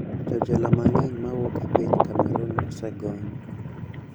Jojela mang`eny ma wuok e piny Cameroon osegony